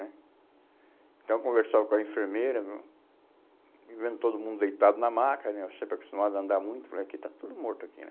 Então eu conversava com a enfermeira, hum, vendo todo mundo deitado na maca né, eu sempre acostumado a andar muito, falei, aqui está tudo morto aqui.